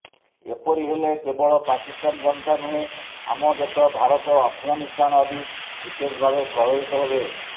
ଏପରି ହେଲେ କେବଳ ପାକିସ୍ତାନ ଜନତା ନୁହେଁ ଆମ ଦେଶ ଭାରତ ଆଫଗାନିସ୍ତାନ ଆଦି ବିଶେଷଭାବେ ପ୍ରଭାବିତ ହେବେ